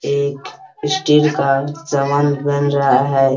एक स्टील का सामान बन रहा है।